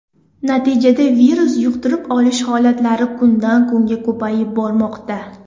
Natijada virus yuqtirib olish holatlari kundan kunga ko‘payib bormoqda.